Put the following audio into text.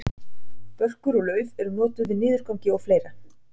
börkur og lauf eru notuð við niðurgangi og fleira